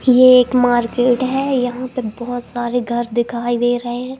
ये एक मार्केट है यहां पे बहोत सारे घर दिखाई दे रहे हैं।